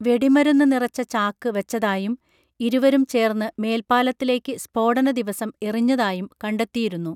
വെടിമരുന്ന് നിറച്ച ചാക്ക് വച്ചതായും ഇരുവരും ചേർന്ന് മേൽപ്പാലത്തിലേക്ക് സ്ഫോടന ദിവസം എറിഞ്ഞതായും കണ്ടെത്തിയിരുന്നു